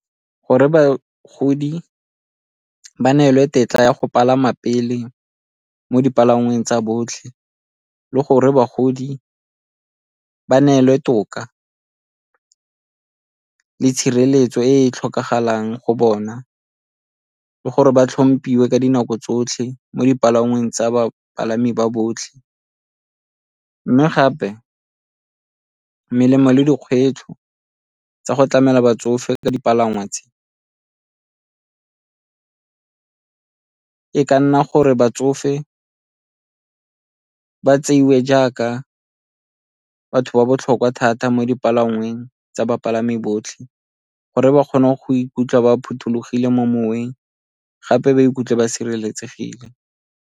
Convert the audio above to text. Gore bagodi ba neelwe tetla ya go palama pele mo dipalangweng tsa botlhe, le gore bagodi ba neelwe toka le tshireletso e e tlhokagalang go bona ke gore ba tlhomphiwe ka dinako tsotlhe mo dipalangweng tsa bapalami ba botlhe. Mme gape melemo le dikgwetlho tsa go tlamela batsofe ka dipalangwa tse, e ka nna gore batsofe ba tseiwe jaaka batho ba botlhokwa thata mo dipalangweng tsa bapalami botlhe gore ba kgone go ikutlwa ba phothulogile mo moweng gape ba ikutlwe ba sireletsegile.